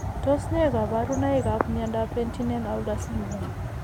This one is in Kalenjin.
Tos ne kaborunoikap miondop Penttinen Aula syndrome?